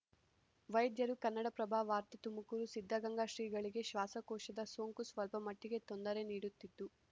ವೈದ್ಯರು ಕನ್ನಡಪ್ರಭ ವಾರ್ತೆ ತುಮಕೂರು ಸಿದ್ಧಗಂಗಾ ಶ್ರೀಗಳಿಗೆ ಶ್ವಾಸಕೋಶದ ಸೋಂಕು ಸ್ವಲ್ಪಮಟ್ಟಿಗೆ ತೊಂದರೆ ನೀಡುತ್ತಿದ್ದು